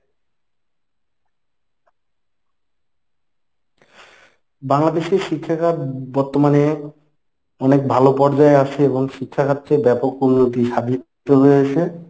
বাংলাদেশের শিক্ষাখাত বর্তমানে অনেক ভালো পর্যায়ে আছে এবং শিক্ষাখাতে ব্যপক উন্নতি সাধিত হয়েছে।